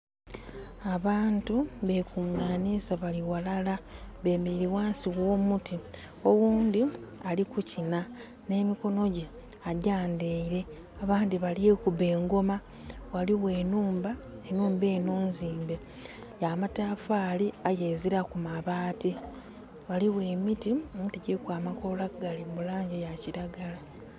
Abantu be kunganhiza ghalala bemereire ghansi gho'muti, oghundhi ali kukinha nhe mikonho gye agyandheire abandhi balikuba engoma. Ghaligho enhumba. Enhumba enho nzimbe ya matafari aye eziraku mabaati. Ghaligho emiti emiti giriku amakola gaali mu langi ya kilagala.